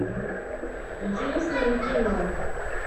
интересное кино